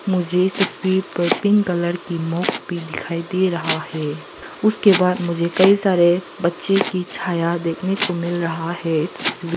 मुझे इस तस्वीर पर पिंक कलर की मॉक भी दिखाई दे रहा है उसके बाद मुझे कई सारे बच्चे की छाया देखने को मिल रहा है इस तस्वीर--